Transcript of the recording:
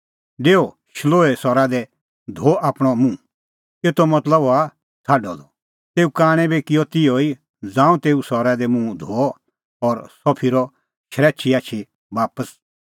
डेऊ शिलोहे सरा दी धो आपणअ मुंहएतो मतलब हआ छ़ाडअ द तेऊ कांणै बी किअ तिहअ ई ज़ांऊं तेऊ सरा दी मुंह धोअ और सह फिरअ शरैछी आछी बापस